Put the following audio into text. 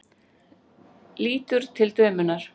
Lítur til dömunnar.